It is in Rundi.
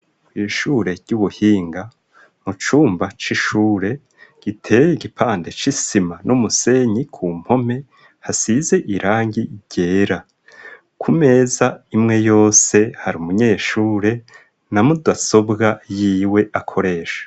Kwishure ry'ubuhinga mu cumba c'ishure giteye igipande c'isima n'umusenyi ku mpome hasize irangi ryera ku meza imwe yose hari umunyeshure na mudasobwa yiwe akoresha.